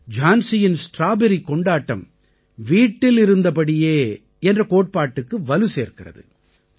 ஜான்சியின் strawberry கொண்டாட்டம் வீட்டில் இருந்தபடியே என்ற கோட்பாட்டுக்கு வலு சேர்க்கிறது